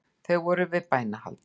Þeir voru þar við bænahald